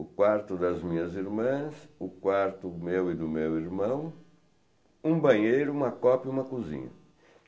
o quarto das minhas irmãs, o quarto do meu e do meu irmão, um banheiro, uma copa e uma cozinha.